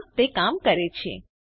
હા તે કામ કરે છે